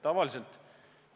Tavaliselt